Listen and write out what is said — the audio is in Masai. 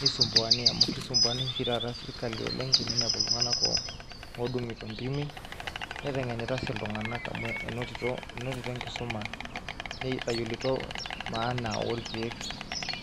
nisumbuani amu kisumbuanisho oshi taata serkali oleng' teninepu iltung'anak oo oodung'ito intimi neteng'inita sii iltung'anak amu enotito inotito enkisuma netayiolito maana orkeek.